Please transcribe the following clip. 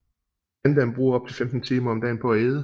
Pandaen bruger op til 15 timer om dagen på at æde